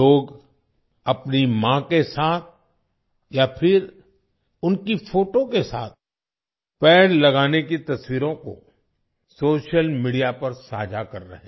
लोग अपनी माँ के साथ या फिर उनकी फोटो के साथ पेड़ लगाने की तस्वीरों को सोशल मीडिया पर साझा कर रहे हैं